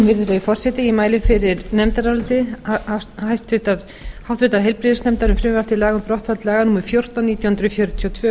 virðulegi forseti ég mæli fyrir nefndaráliti háttvirtur heilbrigðisnefndar um frumvarp til laga um brottfall laga númer fjórtán nítján hundruð fjörutíu og tvö um